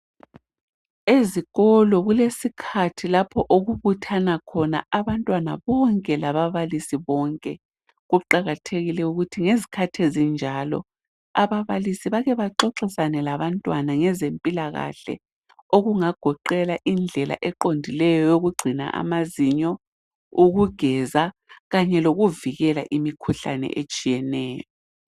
Ezikolo kulesikhathi lapho okubuthana khona abantwana bonke labablisi bonke. Kuqakathekile ukuthi ngezikhathi ezinjalo ababalisi bakhe baxoxisane labantwana ngezempilakahle, okungagoqela indlela eqondileyo yokugcina amazinyo, ukugeza, kanye lokuvikela imikhuhlane etshiyeneyo.